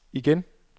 igen